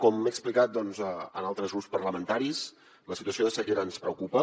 com he explicat a altres grups parlamentaris la situació de sequera ens preocupa